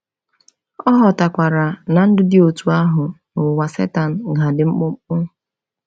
Ọ ghọtakwara na ndụ dị otú ahụ n’ụwa Setan ga-adị mkpụmkpụ.